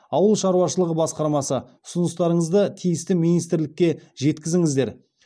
ауыл шаруашылығы басқармасы ұсыныстарыңызды тиісті министрлікке жеткізіңіздер